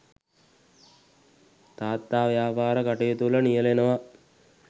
තාත්තා ව්‍යාපාර කටයුතුවල නියැලෙනවා.